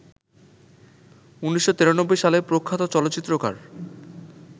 ১৯৯৩ সালে প্রখ্যাত চলচ্চিত্রকার